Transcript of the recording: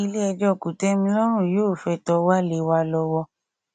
iléẹjọ kòtẹmílọrùn yóò fẹtọ ò wá lẹwà lọwọ